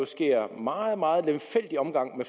sker meget meget lemfældig omgang